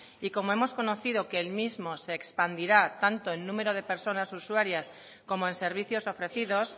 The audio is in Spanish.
y como hemos conocido que el mismo se expandirá tanto en número de personas usuarias como en servicios ofrecidos